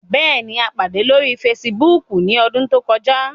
Bẹẹni, a pade lori Fèsìbúukù ni ọdun to kọja